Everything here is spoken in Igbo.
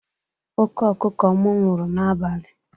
Oke ọkụkụ m nwụrụ n'abali.